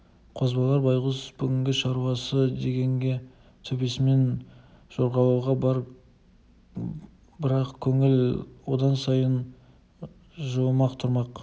қозбағар байғұс бүгінде шаруасы дегенде төбесімен жорғалауға бар бірақ көңілі одан сайын жылымақ тұрмақ